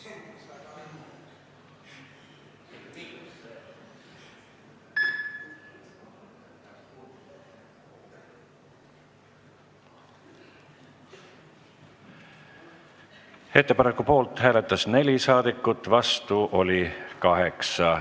Hääletustulemused Ettepaneku poolt hääletas 4 saadikut, vastu oli 8.